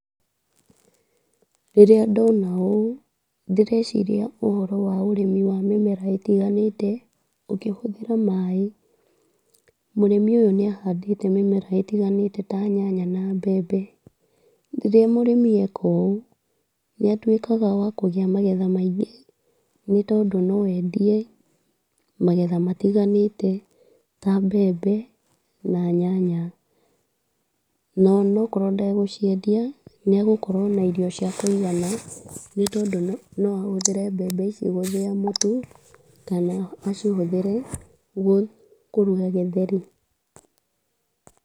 Rĩrĩa ndona ũũ, ndĩreciria ũhoro wa ũrĩmi wa mĩmera ĩtiganĩte, ũkĩhũthĩra maaĩ. Mũrĩmi ũyũ nĩ ahandĩte mĩmera ĩtiganĩte ta nyanya na mbembe, rĩrĩa mũrĩmi eka ũũ, nĩ atuĩkaga wa kũgetha magetha maingĩ, nĩ tondũ no endie magetha matiganĩte ta mbembe na nyanya, na ona akorwo ndagũciendia nĩ agũkorwo na irio ciakũigana, nĩ tondũ no ahũthĩre mbembe icio gũthĩa mũtu, kana acihũthĩre gũ kũruga gĩtheri.